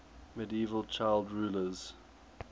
medieval child rulers